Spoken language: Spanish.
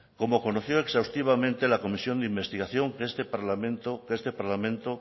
como conoció exhaustivamente la comisión de investigación que este parlamento